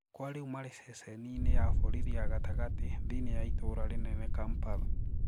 Kwa riu mari ceceni-ini ya borithi ya gatagati thiini ya itũra rinene Kampala.